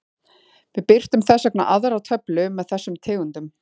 Við birtum þess vegna aðra töflu með þessum tegundum.